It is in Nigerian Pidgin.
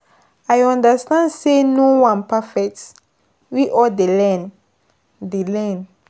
I understand say no one perfect, we all dey learn. dey learn.